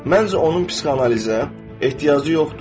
Məncə, onun psixoanalizə ehtiyacı yoxdur.